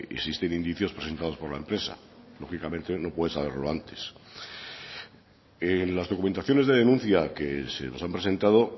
existen indicios presentados por la empresa lógicamente no puede saberlo antes en las documentaciones de denuncia que se nos han presentado